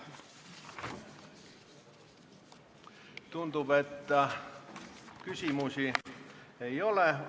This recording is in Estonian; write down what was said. Tundub, et küsimusi ei ole.